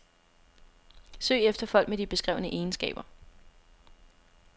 Søg efter folk med de beskrevne egenskaber.